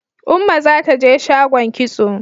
Umma za ta je shagon kitso.